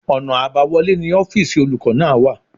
Ọ̀nà àbáwọlé ni ọ́fìsì olùkọ́ náà wà